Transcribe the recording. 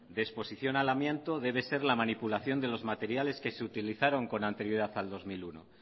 de exposición al amianto debe ser la manipulación de los materiales que se utilizaron con anterioridad al dos mil uno